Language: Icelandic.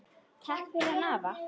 Takk fyrir hann afa.